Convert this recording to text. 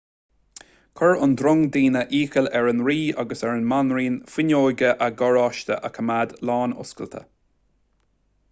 chuir an drong daoine iachall ar an rí agus ar an mbanríon fuinneoga a gcarráiste a choimeád lánoscailte